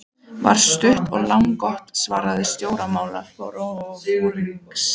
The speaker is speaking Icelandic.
var stutt og laggott svar stjórnmálaforingjans.